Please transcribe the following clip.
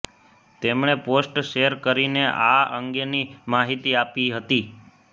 તેમણે post share કરીને આ અંગેની માહિતી આપી હતી